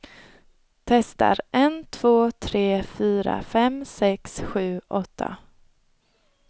Testar en två tre fyra fem sex sju åtta.